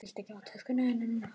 Viltu ekki fá töskuna þína?